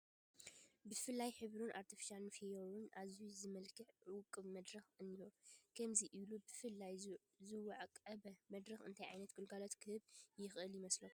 ብፍሉይ ሕብርን ኣርተፊሻል ፍዮሪን ኣዝዩ ዝተመላክዐ ውቁብ መድረክ እኒሆ፡፡ ከምዚ ኢሉ ብፍሉይ ዝወቀበ መድረኽ እንታይ ዓይነት ግልጋሎት ክህብ ይኽእል ይመስለኩም?